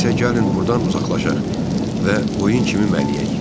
İndi isə gəlin burdan uzaqlaşaq və qoyun kimi mələyək.